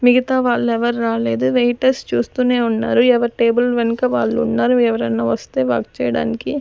మిగతా వాళ్ళు ఎవరు రాలేదు వెయిటర్స్ చూస్తూనే ఉన్నారు ఎవరి టేబుల్ వెనుక వాళ్ళు ఉన్నారు ఎవరైనా వస్తే వర్క్ చేయడానికి.